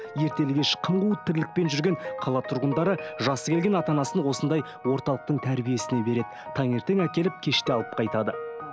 ертелі кеш қым қуыт тірлікпен жүрген қала тұрғындары жасы келген ата анасын осындай орталықтың тәрбиесіне береді таңертең әкеліп кеште алып қайтады